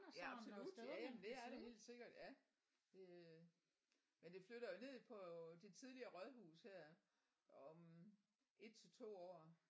Ja absolut ja men det er der helt sikkert ja det men det flytter jo ned på det tidligere rådhus her om 1 til 2 år